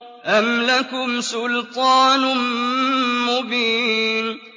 أَمْ لَكُمْ سُلْطَانٌ مُّبِينٌ